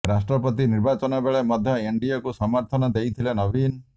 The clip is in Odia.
ରାଷ୍ଟ୍ରପତି ନିର୍ବାଚନ ବେଳେ ମଧ୍ୟ ଏନଡିଏକୁ ସମର୍ଥନ ଦେଇଥିଲେ ନବୀନ